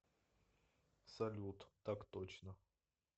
салют так точно